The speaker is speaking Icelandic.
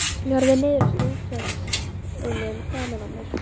Ég horfi niður eftir útvextinum framan á mér.